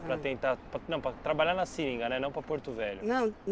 Para tentar, pa, não, para trabalhar na seringa, né, não para Porto Velho. Não,